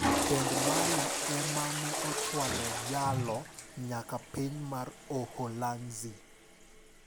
Tend Mali e mane ochwalo jalo nyaka piny mar Uholanzi.